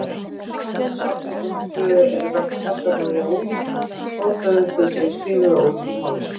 Talmúð-safnritin tvö eru þess vegna mjög lík, þó þau séu skrifuð á ólíkum mállýskum.